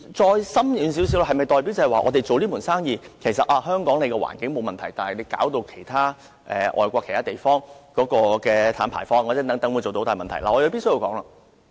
再深遠一點，香港經營這門生意，是否代表本港的環境沒有問題，卻令外國其他地方的碳排放等出現大問題？